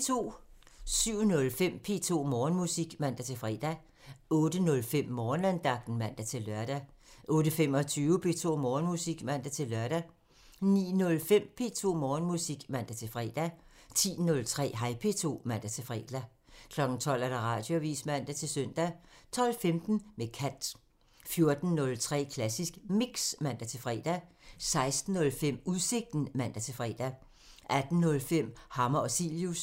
07:05: P2 Morgenmusik (man-fre) 08:05: Morgenandagten (man-lør) 08:25: P2 Morgenmusik (man-lør) 09:05: P2 Morgenmusik (man-fre) 10:03: Hej P2 (man-fre) 12:00: Radioavisen (man-søn) 12:15: Med kant (man) 14:03: Klassisk Mix (man-fre) 16:05: Udsigten (man-fre) 18:05: Hammer og Cilius (man)